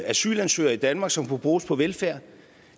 asylansøgere i danmark som kunne bruges på velfærd